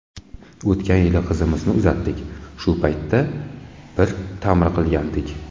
O‘tgan yili qizimizni uzatdik, shu paytda bir ta’mir qilgandik.